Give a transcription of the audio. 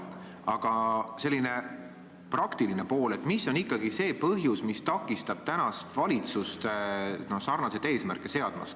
Aga küsin sellise praktilise poole pealt, et mis on ikkagi see põhjus, mis takistab tänast valitsust sarnaseid eesmärke seadmast.